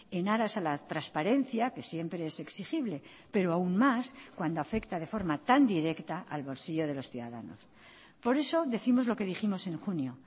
en aras a la transparencia que siempre es exigible pero aún más cuando afecta de forma tan directa al bolsillo de los ciudadanos por eso décimos lo que dijimos en junio